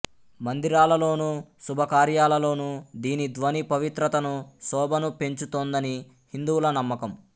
మందిరాలలోను శుభకార్యాలలోనూ దీని ధ్వని పవిత్రతను శోభను పెంచుతుందని హిందువుల నమ్మకం